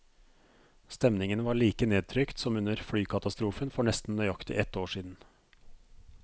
Stemningen var like nedtrykt som under flykatastrofen for nesten nøyaktig ett år siden.